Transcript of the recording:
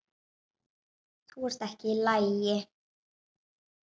Þú ert ekki í lagi.